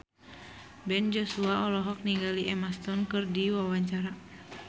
Ben Joshua olohok ningali Emma Stone keur diwawancara